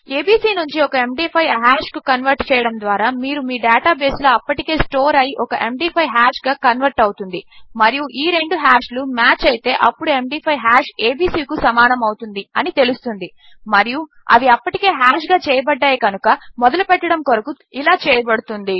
ABC నుంచి ఒక MD5 hash కు కన్వర్ట్ చేయడము ద్వారా మీరు మీ డేటా బేస్ లో అప్పటికే స్టోర్ అయి ఒక ఎండీ5 హాష్ గా కన్వర్ట్ అవుతుంది మరియు ఈ రెండు హాష్ లు మాచ్ అయితే అప్పుడు md5హాష్ ఏబీసీ కు సమానము అవుతుంది అని తెలుస్తుంది మరియు అవి అప్పటికే హాష్ గా చేయబడ్డాయి కనుక మొదలు పెట్టడము కొరకు ఇలా చేయబడుతుంది